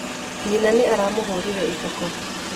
Nyina nĩ aramũhũrire iboko.